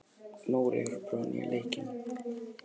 Nóri, hefur þú prófað nýja leikinn?